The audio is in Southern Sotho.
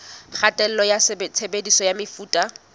kgatello ya tshebediso ya mefuta